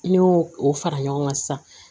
Ne y'o o fara ɲɔgɔn kan sisan